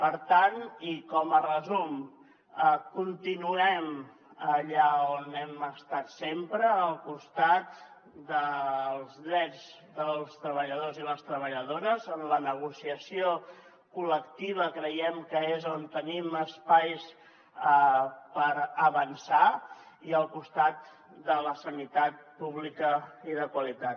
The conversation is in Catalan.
per tant i com a resum continuem allà on hem estat sempre al costat dels drets dels treballadors i les treballadores en la negociació col·lectiva creiem que és on tenim espais per avançar i al costat de la sanitat pública i de qualitat